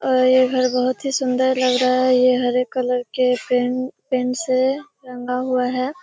और ये घर बहुत ही सुन्‍दर लग रहा है। ये हरे कलर के पेन्‍ट पेन्‍ट से रंगा हुआ है।